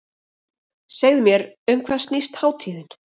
Segðu mér um hvað snýst hátíðin?